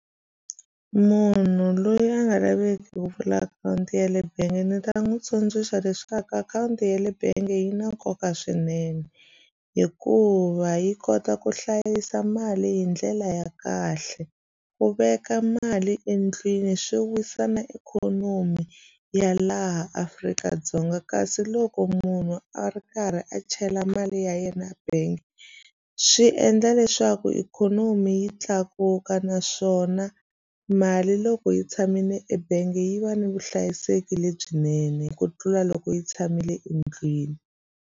Munhu loyi a nga laveki ku pfula akhawunti ya le bangi ndzi ta n'wi tsundzuxa leswaku akhawunti ya le bangi yi na nkoka swinene hikuva yi kota ku hlayisa mali hi ndlela ya kahle ku veka mali endlwini swi wisa na ikhonomi ya laha Afrika-Dzonga kasi loko munhu a ri karhi a chela mali ya yena ya bank swi swi endla leswaku ikhonomi yi tlakuka naswona mali loko yi tshamile ebangi yi va ni vuhlayiseki lebyinene ku tlula loko yi tshamile endlwini.